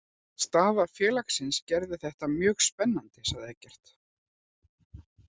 Staða félagsins gerði þetta mjög spennandi, segir Eggert.